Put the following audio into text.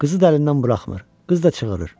Qızı da əlindən buraxmır, qız da çığırır.